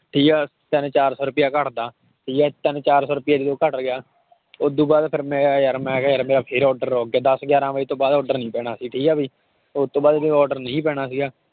ਠੀਕ ਹੈ ਤਿੰਨ ਚਾਰ ਸੌ ਰੁਪਇਆ ਘੱਟਦਾ, ਠੀਕ ਹੈ ਤਿੰਨ ਚਾਰ ਸੌ ਰੁਪਇਆ ਜਦੋਂ ਘੱਟ ਗਿਆ ਉਹ ਤੋਂ ਬਾਅਦ ਫਿਰ ਮੈਂ ਕਿਹਾ ਯਾਰ, ਮੈਂ ਕਿਹਾ ਯਾਰ ਮੇਰਾ ਫਿਰ order ਰੁੱਕ ਗਿਆ ਦਸ ਗਿਆਰਾਂ ਵਜੇ ਤੋਂ ਬਾਅਦ order ਨੀ ਪੈਣਾ ਸੀ ਠੀਕ ਹੈ ਵੀ, ਉਹ ਤੋਂ ਬਾਅਦ ਕੋਈ order ਨਹੀਂ ਪੈਣਾ ਸੀਗਾ।